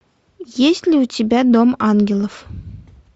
есть ли у тебя дом ангелов